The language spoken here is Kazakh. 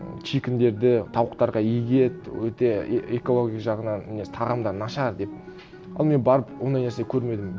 чикендерді тауықтарға егеді өте экология жағынан несі тағамдары нашар деп ал мен барып ондай нәрсе көрмедім